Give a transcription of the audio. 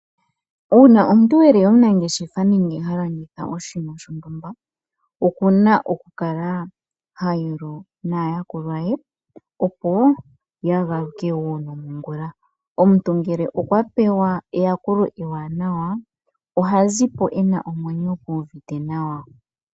Uuna omuntu eli omunangeshefela nenge ha landitha oshinima shontumba okuna oku kala ha yolo naayakulwa ye opo ya galuke wo nongula .Omuntu ngele okwa pewa eyakulo ewanawa ohazipo ena omwenyo gu uvite nawa.